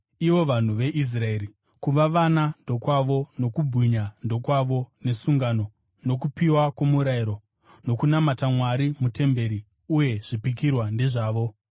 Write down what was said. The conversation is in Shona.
ivo vanhu veIsraeri. Kuva vana ndokwavo; nokubwinya ndokwavo, nesungano, nokupiwa kwomurayiro, nokunamata Mwari mutemberi uye zvipikirwa ndezvavo.